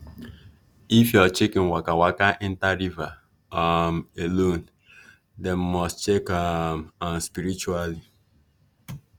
if your chicken waka waka enter river um alone dem must to check um am spiritually